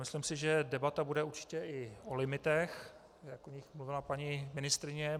Myslím si, že debata bude určitě i o limitech, jak o nich mluvila paní ministryně.